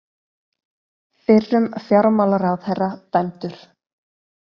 Fyrrum fjármálaráðherra dæmdur